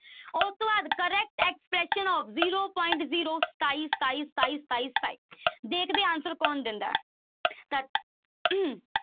ਉਸ ਤੋਂ ਬਾਅਦ correct of zero point zero ਸਤਾਈ, ਸਤਾਈ, ਸਤਾਈ, ਸਤਾਈ, ਸਤਾਈ ਦੇਖਦੇ ਹਾਂ answer ਕੌਣ ਦਿੰਦਾ ਹੈ ਤਾਂ